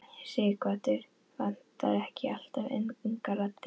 Sighvatur: Vantar ekki alltaf ungar raddir?